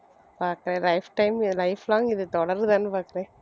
பாக்கறேன் life time இது life long இது தொடருதான்னு பார்க்கிறேன்